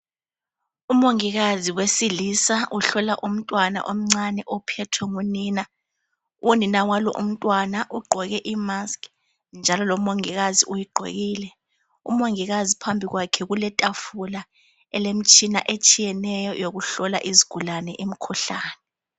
Umongikazi wesilisa uhlola umntwana omncane ophethwe ngunina. Unina walomntwana ugqoke imaskhi, njalo lomongikazi uyigqokile. Umongikazi phambi kwakhe kuletafula elemitshina ehlukeneyo yokuhlola izigulane umkhuhlane.